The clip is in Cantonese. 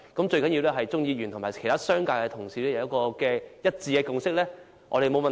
最重要的是鍾議員和其他商界同事一致達成共識，我們便沒有問題。